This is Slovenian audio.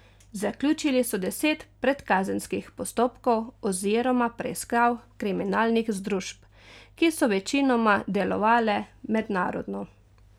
Zaključili so deset predkazenskih postopkov oziroma preiskav kriminalnih združb, ki so večinoma delovale mednarodno.